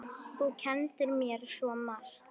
Þú kenndir mér svo margt.